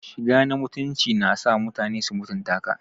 Shiga na mutunci na sa mutane su mutunta ka.